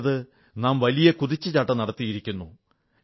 അതായത് നാം വലിയ കുതിച്ചു ചാട്ടം നടത്തിയിരിക്കുന്നു